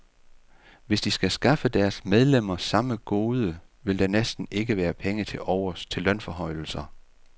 Hvis de skal skaffe deres medlemmer samme gode, vil der næsten ikke være penge tilovers til lønforhøjelser.